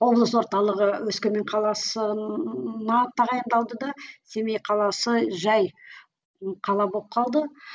облыс орталығы өскемен қаласына тағайындалды да семей қаласы жай қала болып қалды